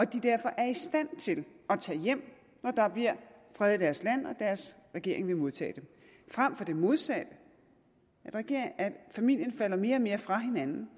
de derfor er i stand til at tage hjem når der bliver fred i deres land og deres regering vil modtage dem frem for det modsatte at familien falder mere og mere fra hinanden